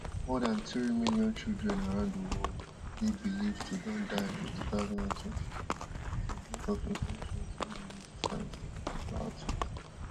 more dan three million children around di world dey believed to don die for two thousand and twenty-two as a result of infections wey dey resistant to antibiotics